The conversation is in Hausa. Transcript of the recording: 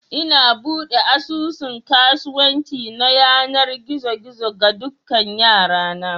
Ina buɗe asusun kasuwanci na yanar gizo gizo ga dukan 'yara na